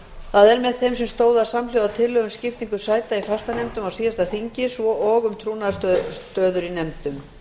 það er með þeim sem stóðu að samhljóða tillögum um skiptingu sæta í fastanefndum á síðasta þingi svo og um trúnaðarstöður í nefndum